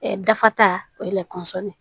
data o ye de ye